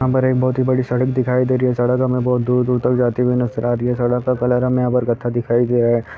यहाँ पर एक बहुत बड़ी सड़क दिखाई दे रही है| सड़क हमे बहुत दूर-दूर तक जाते हुए नजर आ रही है| सड़क का कलर हमे यहाँ पे गढ्ढा दिखाई दे रहा है।